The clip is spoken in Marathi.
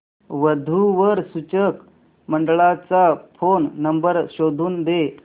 वधू वर सूचक मंडळाचा फोन नंबर शोधून दे